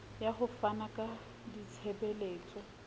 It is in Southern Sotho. ya ho fana ka ditshebeletso